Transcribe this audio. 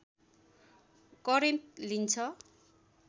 current लिन्छ